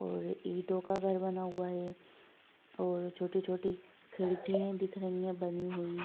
और ईटों का घर बना हुआ और छोटी छोटी खिड़की दिख रही है बनी हुई ।